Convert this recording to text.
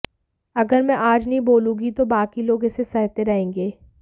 अगर मैं आज नहीं बोलूंगी तो बाकी लोग इसे सहते रहेंगे